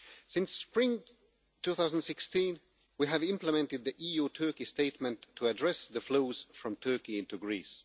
Since spring 2016, we have implemented the EU-Turkey statement to address the flows from Turkey into Greece.